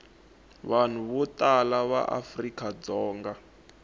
vanhu vo tala va afrikadzonga